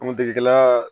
An kun degela